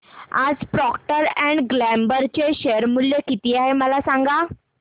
आज Procter and Gamble चे share मूल्य किती आहे मला सांगा